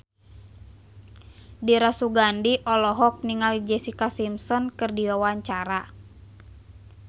Dira Sugandi olohok ningali Jessica Simpson keur diwawancara